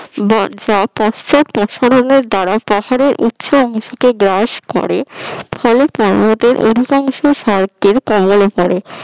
দাড়া পাহাড়ের উচ্চ অংশ তে বাস করে ফলে অধিকাংশ